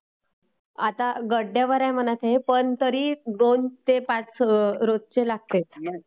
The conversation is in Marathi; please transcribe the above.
आता गड्ड्यावर म्हणा आहे ते....पण तरी दोन ते पाच रोजचे लागतील